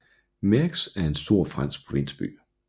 Meaux er en stor fransk provinsby